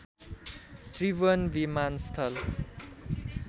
त्रिभुवन विमानस्थल